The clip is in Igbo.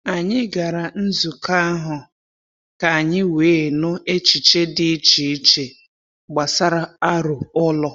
Anyị gara nzukọ ahụ ka anyị wee nụ echiche dị iche iche gbasara aro ụlọ.